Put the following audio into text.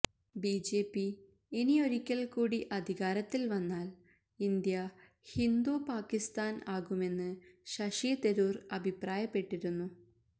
BJP ഇനിയൊരിക്കൽ കൂടി അധികാരത്തിൽ വന്നാൽ ഇന്ത്യ ഹിന്ദു പാക്കിസ്ഥാൻ ആകുമെന്ന് ശശി തരൂർ അഭിപ്രായപ്പെട്ടിരുന്നു